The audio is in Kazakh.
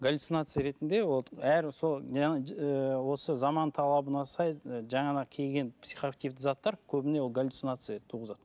галюцинация ретінде вот әр осы жаңа заман талабына сай жаңағы келген психоактивті заттар көбіне ол галюцинация туғызады